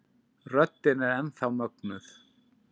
Röddin er enn þá mögnuð.